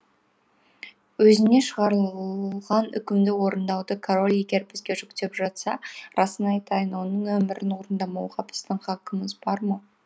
өзіне шығарылған үкімді орындауды король егер бізге жүктеп жатса расын айтайын оның әмірін орындамауға біздің хақымыз бар ма